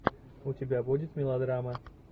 у тебя будет мелодрама